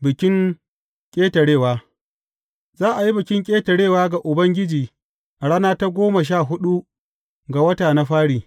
Bikin Ƙetarewa Za a yi Bikin Ƙetarewa ga Ubangiji a rana ta goma sha huɗu ga wata na fari.